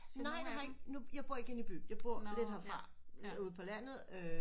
Nej det har jeg ikke jeg bor lidt herfra ude på landet øh